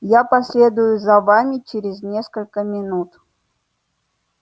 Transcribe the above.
я последую за вами через несколько минут